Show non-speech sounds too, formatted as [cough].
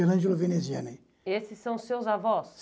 [unintelligible] veneziana esses são seus avós?